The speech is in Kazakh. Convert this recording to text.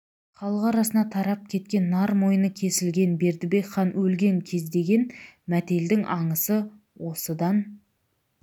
халық арасына тарап кеткен нар мойны кесілген бердібек хан өлген кездеген мәтелдің аңысы содан